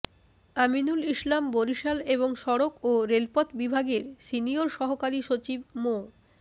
আমিনুল ইসলাম বরিশাল এবং সড়ক ও রেলপথ বিভাগের সিনিয়র সহকারী সচিব মো